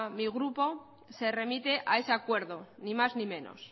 mi grupo se remite a ese acuerdo ni más ni menos